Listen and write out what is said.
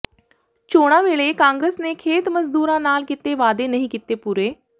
ਚੋਣਾਂ ਵੇਲੇ ਕਾਂਗਰਸ ਨੇ ਖੇਤ ਮਜ਼ਦੂਰਾਂ ਨਾਲ ਕੀਤੇ ਵਾਅਦੇ ਨਹੀਂ ਕੀਤੇ ਪੂਰੇ